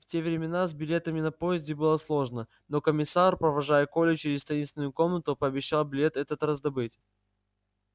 в те времена с билетами на поезде было сложно но комиссар провожая колю через таинственную комнату пообещал билет этот раздобыть